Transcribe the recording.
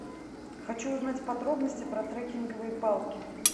хочу узнать подробности про трекинговые палки